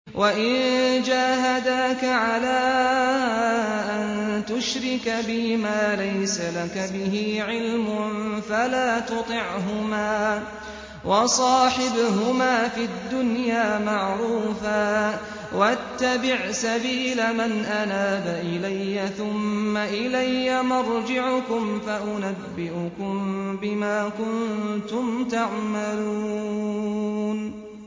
وَإِن جَاهَدَاكَ عَلَىٰ أَن تُشْرِكَ بِي مَا لَيْسَ لَكَ بِهِ عِلْمٌ فَلَا تُطِعْهُمَا ۖ وَصَاحِبْهُمَا فِي الدُّنْيَا مَعْرُوفًا ۖ وَاتَّبِعْ سَبِيلَ مَنْ أَنَابَ إِلَيَّ ۚ ثُمَّ إِلَيَّ مَرْجِعُكُمْ فَأُنَبِّئُكُم بِمَا كُنتُمْ تَعْمَلُونَ